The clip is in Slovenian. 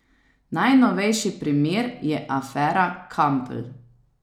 Najnovejši primer je afera Kampl.